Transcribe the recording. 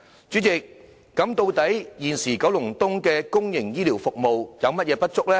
主席，現時九龍東的公營醫療服務究竟有何不足呢？